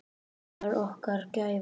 Það var okkar gæfa.